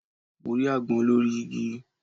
Mo rí agbón lórí igi